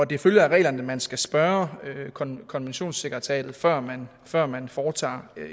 det følger af reglerne at man skal spørge konventionssekretariatet før man før man foretager